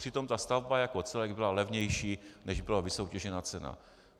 Přitom ta stavba jako celek byla levnější, než byla vysoutěžená cena.